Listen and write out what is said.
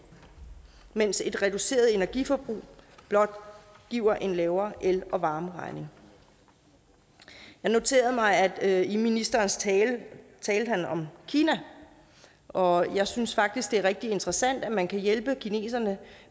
mens et reduceret energiforbrug blot giver en lavere el og varmeregning jeg noterede mig at ministeren i sin tale talte om kina og jeg synes faktisk det er rigtig interessant at man kan hjælpe kineserne